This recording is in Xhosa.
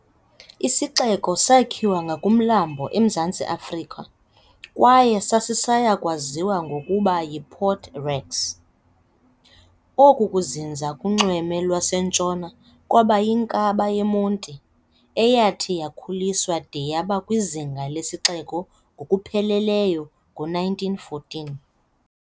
Isixeko sakhiwa ngakumlambo eMzantsi Afrika kwaye sasisaya kwaziwa ngokokuba yiPort Rex. Oku kuzinza kunxweme lwaseNtshona kwaba yinkaba yeMonti, eyathi yakhuliswa de yaba kwizinga lesixeko ngokupheleleyo ngo-1914.